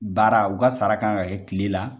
Baara u ka sara kan ka kɛ kile la.